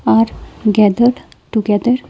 Are gathered together.